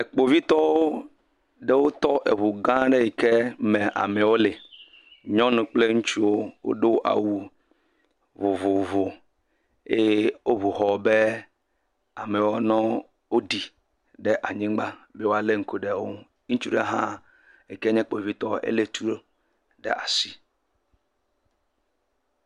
Kpovitɔwo ɖewo tɔ eŋu gã ɖe yike me amewo le. Nyɔnu kple ŋutsuwo wodo awu vovovowo eye woŋu ŋɔ be amewo ne ɖi ɖe anyigba ne woale ŋku ɖe eŋu. Ŋutsu hã yike nye kpovitɔ ele etu ɖe asi.